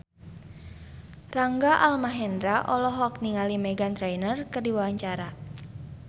Rangga Almahendra olohok ningali Meghan Trainor keur diwawancara